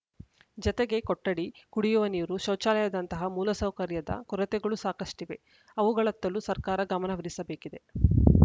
ಜತೆಗೆ ಕೊಠಡಿ ಕುಡಿಯುವ ನೀರು ಶೌಚಾಲಯದಂತಹ ಮೂಲಸೌಕರ್ಯದ ಕೊರತೆಗಳೂ ಸಾಕಷ್ಟಿವೆ ಅವುಗಳತ್ತಲೂ ಸರ್ಕಾರ ಗಮನಹರಿಸಬೇಕಿದೆ